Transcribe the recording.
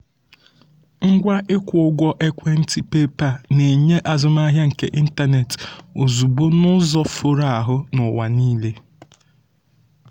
ngwa ịkwụ ụgwọ ekwentị paypal na-enye azụmahịa nke ịntanetị ozugbo n'ụzọ foro ahụ n'ụwa niile.